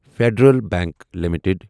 federal bank limited